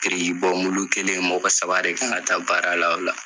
Birikibɔmulu kelen mɔgɔ saba de kan ka taa baara la o la.